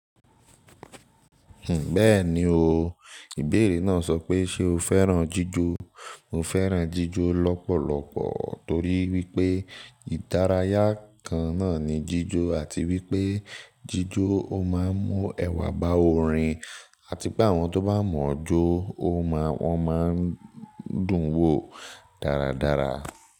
Bẹ́ẹ̀ni o, ìbéèrè náà sọ pé ṣe o fẹ́ràn jíjó? Mo fẹ́ràn jíjó lọ́pọ̀lọpọ̀ torí wípé ìdárayá kan náà ni jíjó àti wípé jíjó ó máa ń mú ẹwà bá orin àti pé àwọn tó bá mọ̀ọ́ jó ó máa, wọ́n máa ń dùn wò dáradára.